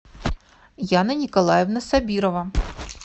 яна николаевна сабирова